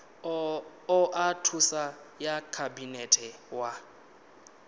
oa thuso ya khabinete wa